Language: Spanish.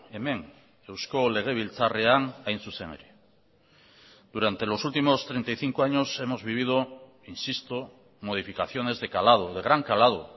hemen eusko legebiltzarrean hain zuzen ere durante los últimos treinta y cinco años hemos vivido insisto modificaciones de calado de gran calado